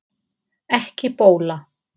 Ekki bóla